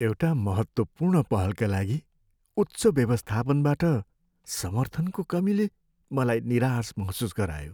एउटा महत्त्वपूर्ण पहलका लागि उच्च व्यवस्थापनबाट समर्थनको कमीले मलाई निराश महसुस गरायो।